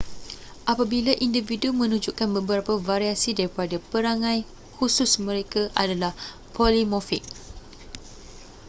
apabila individu menunjukkan beberapa variasi daripada perangai khusus mereka adalah polimorfik